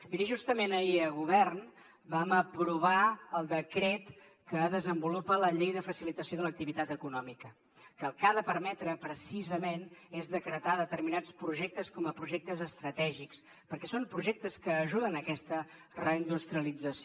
miri justament ahir a govern vam aprovar el decret que desenvolupa la llei de facilitació de l’activitat econòmica que el que ha de permetre precisament és decretar determinats projectes com a projectes estratègics perquè són projectes que ajuden a aquesta reindustrialització